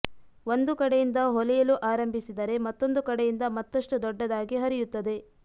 ಒಂದು ಕಡೆಯಿಂದ ಹೊಲೆಯಲು ಆರಂಭಿಸಿದರೆ ಮತ್ತೊಂದು ಕಡೆಯಿಂದ ಮತ್ತಷ್ಟು ದೊಡ್ಡದಾಗಿ ಹರಿಯುತ್ತದೆ